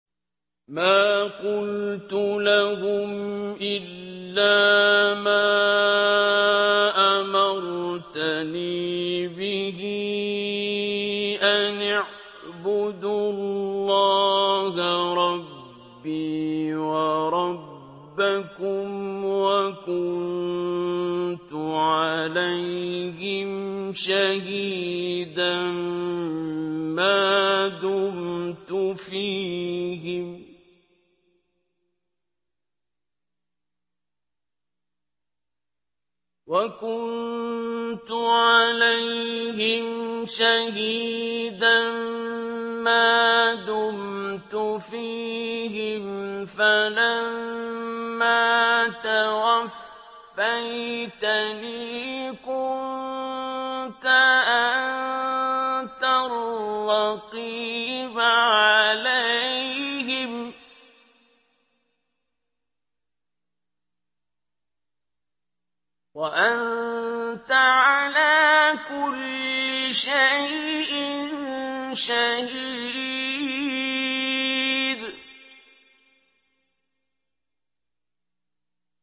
مَا قُلْتُ لَهُمْ إِلَّا مَا أَمَرْتَنِي بِهِ أَنِ اعْبُدُوا اللَّهَ رَبِّي وَرَبَّكُمْ ۚ وَكُنتُ عَلَيْهِمْ شَهِيدًا مَّا دُمْتُ فِيهِمْ ۖ فَلَمَّا تَوَفَّيْتَنِي كُنتَ أَنتَ الرَّقِيبَ عَلَيْهِمْ ۚ وَأَنتَ عَلَىٰ كُلِّ شَيْءٍ شَهِيدٌ